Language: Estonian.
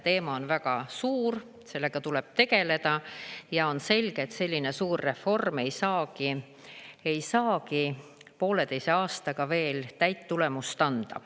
Teema on väga suur, sellega tuleb tegeleda ja on selge, et selline suur reform ei saagi ei saagi pooleteise aastaga veel täit tulemust anda.